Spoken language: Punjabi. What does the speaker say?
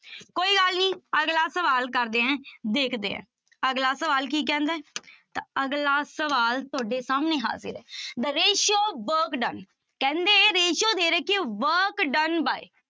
ਕੋਈ ਗੱਲ ਨੀ ਅਗਲਾ ਸਵਾਲ ਕਰਦੇ ਹਾਂ, ਦੇਖਦੇ ਹਾਂ, ਅਗਲਾ ਸਵਾਲ ਕੀ ਕਹਿੰਦਾ ਹੈ ਤਾਂ ਅਗਲਾ ਸਵਾਲ ਤੁਹਾਡੇ ਸਾਹਮਣੇ ਹਾਜ਼ਿਰ ਹੈ the ratio work done ਕਹਿੰਦੇ ratio ਦੇ ਰੱਖੀ ਹੈ work done by